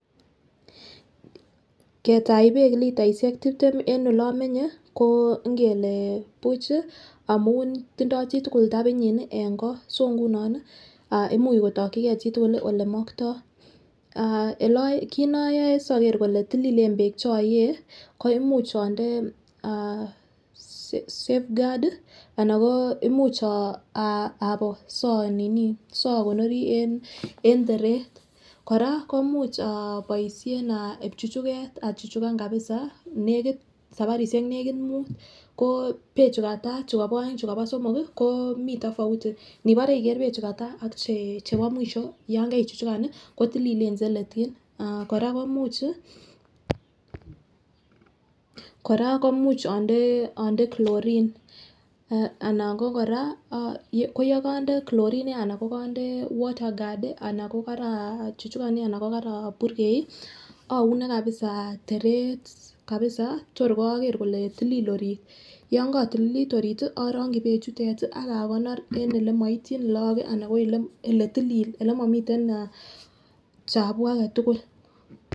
Ketach beek litaishek tiptem en ole omenye ko ngele buch chii amun tindo chitukul tapinyin nii en kot so nguno nii ah imuch kotokigee chitukul lii olemokto ah kit noyoe soker kole tililen beek cheoyee ko imuch inde eeh safeguard tii ana ko imuch amoo so nini sokonorii en teret. Koraa komuch ah oboishen ah ibchuchuket achuchukan kabisa nekit sabarishek nekit mut ko beek chukata chukobo oeng chukobo somok ko mii tofauti nibore iker beek chukataa ak che chebo mwisho yon kerichuchuka nii, kotililen che letyin. Ah Koraa ko imuch chii, Koraa ko imuch onde chlorine anan ko Koraa yekinde chlorine ana yekonde water guard anan ko kara chuchukan nii ana ko karaburgey oune kabisa teret kabisa your okere ole tilil orit. Yon kotililit orit tii orongi beek chute tii ak akonor en olemoityin lok kii ana ko ele tiilil elemimiten ah chabuuk agetukul.